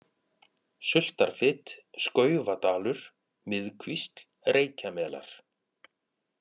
Sultarfit, Skaufadalur, Miðkvísl, Reykjamelar